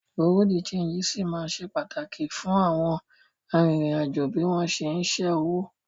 Bùréàú de ṣéńjì ṣì ma ṣe pàtàkì fún àwọn arìnrìn-àjò bí wọ́n ṣé ń ṣẹ́ owó